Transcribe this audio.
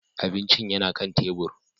Abincin yana kan tebur.